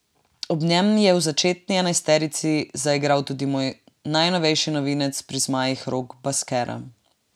Ob njem je v začetni enajsterici zaigral tudi drugi najnovejši novinec pri zmajih Rok Baskera.